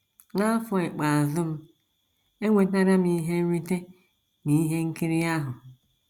N’afọ ikpeazụ m, enwetara m ihe nrite n’ihe nkiri ahụ.